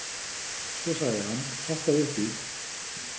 Svo sagði hann: Hoppaðu upp í.